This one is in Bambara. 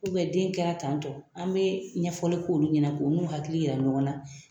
den kɛra tan tɔ an bɛ ɲɛfɔli k'olu ɲɛna ko u n'u hakili jira ɲɔgɔn na